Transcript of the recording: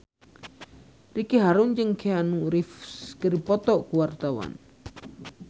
Ricky Harun jeung Keanu Reeves keur dipoto ku wartawan